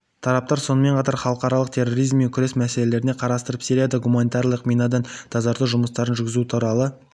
тараптар сонымен қатар халықаралық терроризммен күрес мәселелерін қарастырып сирияда гуманитарлық минадан тазарту жұмыстарын жүргізу туралы